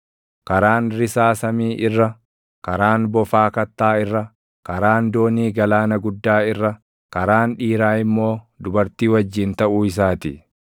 Karaan risaa samii irra, karaan bofaa kattaa irra, karaan doonii galaana guddaa irra, karaan dhiiraa immoo dubartii wajjin taʼuu isaa ti.